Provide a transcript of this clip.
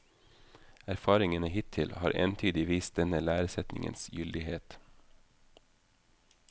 Erfaringene hittil har entydig vist denne læresetningens gyldighet.